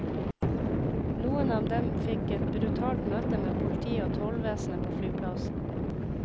Noen av dem fikk et brutalt møte med politiet og tollvesenet på flyplassen.